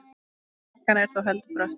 Brekkan er þó heldur brött.